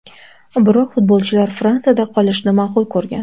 Biroq futbolchilar Fransiyada qolishni ma’qul ko‘rgan.